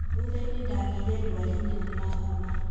Thuthainĩ ndagiire ndwari nene na homa